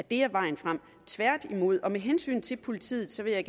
ikke er vejen frem tværtimod med hensyn til politiet vil jeg